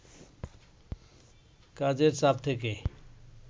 কাজের চাপ থেকে